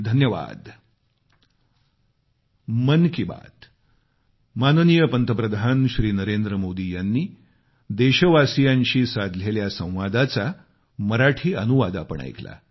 अनेक अनेक धन्यवाद